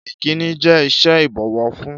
Ìkínni jẹ́ ìṣe ìbọ̀wọ̀ fún.